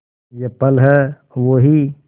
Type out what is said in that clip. ये पल हैं वो ही